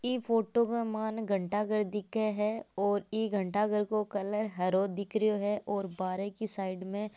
ई photo के मायने घंटाघर दिखे है और ई घटांघर को कलर हारा दिख रियो है और बारे की साइड में --